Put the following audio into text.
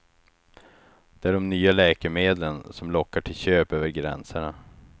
Det är de nya läkemedlen som lockar till köp över gränserna.